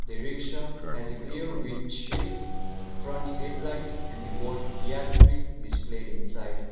the rickshaw has a clear windshield front headlight and the word yatri displayed inside.